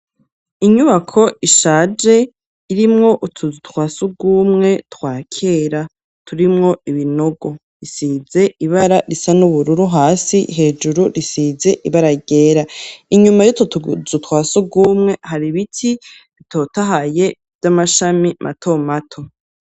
Inyubako ishaje irimwo utuzu twasugumwe twakera turimwo ibinogo isize ibara risa n'ubururu hasi, hejuru risize ibara ryera inyuma yutwo tuzu twasugumwe hari ibiti bitotahaye vy'amashami mato mato.